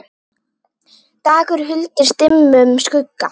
dagur huldist dimmum skugga